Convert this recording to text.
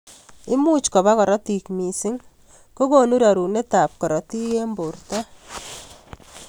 Imuch koba karotik missing kokonu rerunet ab karotik eng borto.